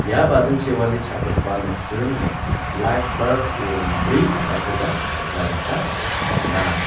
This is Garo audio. ia badingchiwale cha·gipa nokdringo lait barb rongbri teng·akoba nikna gita man·a.